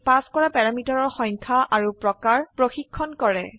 ই pass কৰা প্যাৰামিটাৰৰ সংখ্যা আৰু প্ৰকাৰ চ্চেক কৰে